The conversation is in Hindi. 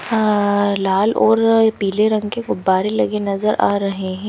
अ लाल और पीले रंग के गुब्बारे लगे नज़र आ रहे हैं।